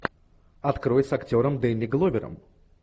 открой с актером дэнни гловером